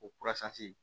O